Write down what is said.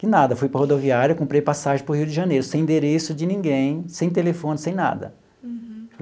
Que nada, fui para a rodoviária, comprei passagem para o Rio de Janeiro, sem endereço de ninguém, sem telefone, sem nada. Uhum.